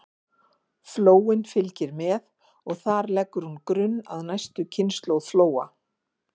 Flóin fylgir með og þar leggur hún grunn að næstu kynslóð flóa.